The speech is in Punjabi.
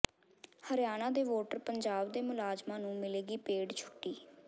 ਹਰਿਆਣਾ ਦੇ ਵੋਟਰ ਪੰਜਾਬ ਦੇ ਮੁਲਾਜ਼ਮਾਂ ਨੂੰ ਮਿਲੇਗੀ ਪੇਡ ਛੁੱਟੀ